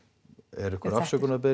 er einhver